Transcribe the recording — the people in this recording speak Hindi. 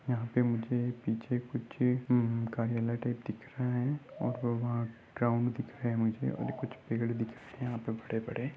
यहाँ पे मुझे पीछे कुछ उम-कार्यालय टाइप दिख रहा है और वो वहा ग्राउंड दिख रहा है मुझे और कुछ पेड़ दिख रहे है यहाँ पे बड़े-बड़े।